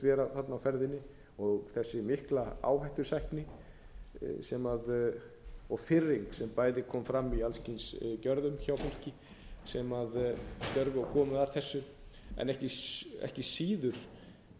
vera þarna á ferðinni og þessi mikla áhættusækni og firring sem bæði kom fram í alls kyns gjörðum hjá fólki sem starfaði og kom að þessu en ekki síður